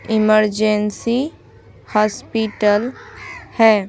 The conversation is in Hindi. इमरजेंसी हॉस्पिटल है।